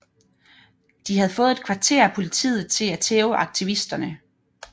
De havde fået et kvarter af politiet til at tæve aktivisterne